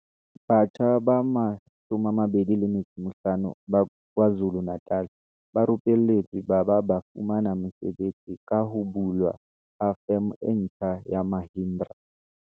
Batjha ba 25 ba KwaZu lu-Natal ba rupelletswe ba ba ba fumana mesebetsi ka ho bulwa ha Feme e ntjha ya Mahindra.